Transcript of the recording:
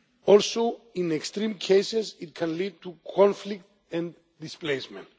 Also, in extreme cases, it can lead to conflict and displacement.